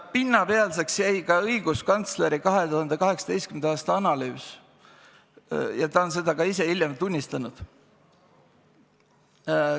Pinnapealseks jäi ka õiguskantsleri 2018. aasta analüüs ja ta on seda ka ise hiljem tunnistanud.